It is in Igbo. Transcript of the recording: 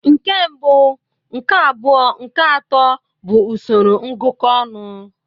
Nke mbụ, nke abụọ nke atọ bụ usoro ngụkọ ọnụ.